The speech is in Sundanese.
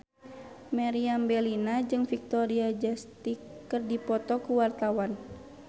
Meriam Bellina jeung Victoria Justice keur dipoto ku wartawan